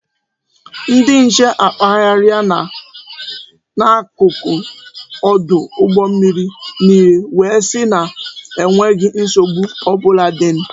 Ndị nche akpagharịa na n'akụkụ ọdụ mmiri niile wee sị na enweghi nsogbu ọbụla dị